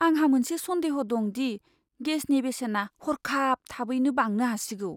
आंहा मोनसे सन्देह दं दि गेसनि बेसेना हरखाब थाबैनो बांनो हासिगौ।